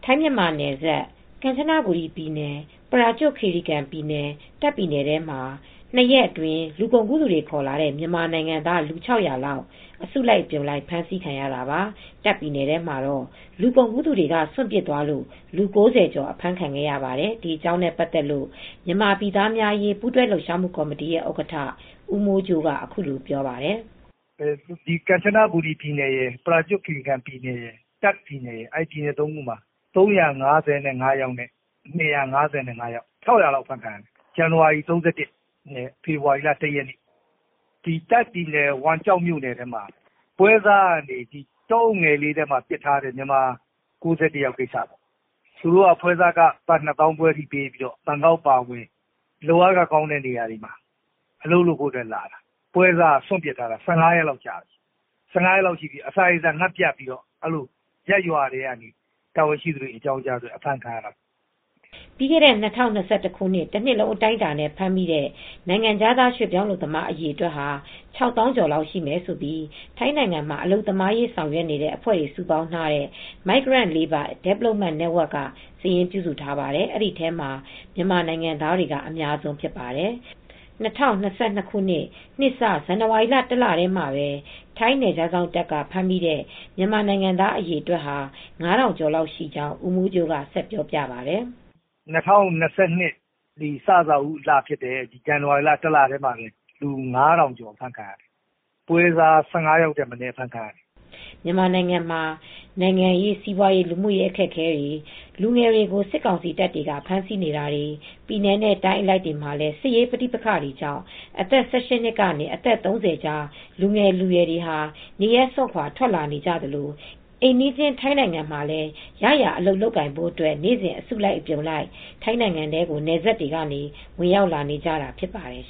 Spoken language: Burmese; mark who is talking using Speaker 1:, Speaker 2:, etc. Speaker 1: ထိုင်းမြန်မာနယ်စပ် ကမ်ချနဘူရီပြည်နယ် ပရာကျွတ်ခီရီကန်ပြည်နယ် တာ့ခ်ပြည်နယ်ထဲမှာပဲ ၂ရက်အတွင်းလူကုန်ကူးသူတွေခေါ်လာတဲ့မြန်မာနိုင်ငံသား လူ၆ဝဝလောက်အစုလိုက်အပြုံလိုက် အဖမ်းခံရတာပါ ။တာ့ခ်ပြည်နယ်ထဲမှာတော့ လူကုန်ကူးသူတွေက စွန်ပစ်သွားလို့ လူ၉ဝကျော်အဖမ်းခံခဲ့ရပါတယ်။ ဒီအကြောင်းနဲပတ်သက်လို့ မြန်မာပြည်သားများအရေးပူးတွဲလှုပ်ရှားမူ့ကော်မတီရဲ့ဥက္ကဌဦးမိုးကြိုးကအခုလိုပြောပါတယ်။
Speaker 2: "ကမ်ချနဘူရီပြည်နယ်ရယ်၊ ပရာကျွတ်ခီရီကန်ပြည်နယ် ရယ် တာ့ခ်ပြည်နယ်စတဲ့ပြည်နယ် ၃ခုမှာ ၃၅၅ယောက်နဲ့ ၂၅၅ယောက် ၆၀၀လောက်အဖမ်းခံရတယ်။ ဇန်နဝါရီလ ၃၁ရက်နေ့နဲ့ ဖေဖေါ်ဝါရီလ ၁ရက်နေ့မှာဖမ်းခံရတာပါ ။တာ့ခ်ပြည်နယ် ဝမ်ကျော်ကမြို့နယ်ထဲမှာတော့ ပွဲစားက တောအုပ်ထဲမှာစွန့်ပစ်ခံထားရတဲ့ မြန်မာ၉၁ယောက်ရှိတယ်။ သူတို့ပွဲစားခဘတ်ငွေ ၂သောင်းခွဲလောက်ပေးပြီး ဘန်ကောက်အပါအဝင် အလုပ်အကိုင်ကောင်းတဲ့နေရာကို ပို့ပေးဖို့ဆိုပြီး လာကြတာပါ။ပွဲစားက စွန့်ပစ်သွားတာ ၁၅ ရက်လောက်ရှိပြီ အစာရေစာပြတ်ပြီးနောက်မှာ ရပ်ရွာကနေ တာဝန်ရှိသူတွေ အကြောင်းကြားမှအဖမ်းခံရတာ
Speaker 1: " ပြီးခဲ့တဲ့ ၂၀၂၁ တနှစ်လုံးအတိုင်းအတာနဲ့ ဖမ်းမိတဲ့ နိုင်ငံခြားရွှေပြောင်း အလုပ်သမားအရေအတွက် ၆ သောင်းကျော်လောက်ရှိမယ်လို့လည်း ထိုင်းနိုင်ငံမှာ အလုပ်သမားရေးဆောင်ရွက်နေတဲ့အဖွဲ့တွေစုပေါင်းထားတဲ့ Migrant Labour Development Network ကစာရင်း ပြုစုထားပါတယ်။ အဲဒီထဲမှာ မြန်မာနိုင်ငံသားတွေက အများဆုံးဖြစ်ပါတယ်။ ၂၀၂၂ခုနှစ် နှစ်စ ဇန်နဝါရီလ တလထဲမှာပဲ ထိုင်းနယ်ခြားစောင့်တပ်က ဖမ်းမိတဲ့မြန်မာနိုင်ငံသားအရေအတွက် က ၅ထောင်ကျော်ရှိကြောင်း ဦးမိ
Speaker 2: ုးကြိုးကပြောပါတယ်။ ၂၀၂၂ ခုနှစ်အစပိုင်းလဖြစ်တဲ့ ဇန်နဝါရီလ တလထဲမှာပဲလူ၅ထောင်ကျော်အဖမ်းခံရတယ် ပွဲစားကတော့ ၁၅ယောက်ထက်မနည်းအဖမ်းခံရပါတယ်
Speaker 1: ။ မြန်မာနိုင်ငံမှာ နိုင်ငံရေး စီးပွားရေး လူမူရေးအခက်အခဲတွေ လူငယ်တွေကို စစ်ကောင်စီတပ်တွေက ဖမ်းဆီးနေတာတွေ ပြည်နယ်နဲ့ တိုင်းအလိုက်မှာလည်း စစ်ရေးပဋိပက္ခတွေကြောင့် အသက်၁၈ကနေ အသက် ၃၀ ကြား လူငယ်လူရွယ်တွေဟာ နေရပ်စွန်ခွါ ထွက်လာနေကြသလို အိမ်နီးချင်း ထိုင်းနိုင်ငံမှာ ရရာအလုပ်လုပ်ကိုင်အဖို့အတွက်လည်း နေ့စဉ် အစုလိုက် အပြုံလိုက် ထိုင်းနိုင်ငံထဲကို နယ်စပ်တွေကနေဝင်ရောက်နေကြတာဖြစ်ပါတယ်